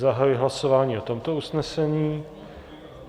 Zahajuji hlasování o tomto usnesení.